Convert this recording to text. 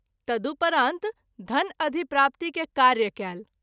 तदुपरांत धन अधिप्राप्ति के कार्य कयल।